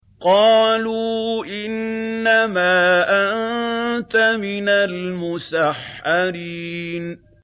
قَالُوا إِنَّمَا أَنتَ مِنَ الْمُسَحَّرِينَ